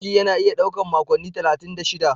Ciki yana iya ɗaukar makonni talatin da shida.